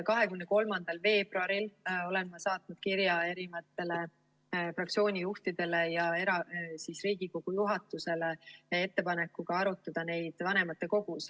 23. veebruaril saatsin ma kirja fraktsioonide juhtidele ja Riigikogu juhatusele ettepanekuga arutada neid vanematekogus.